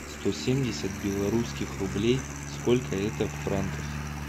сто семьдесят белорусских рублей сколько это в франках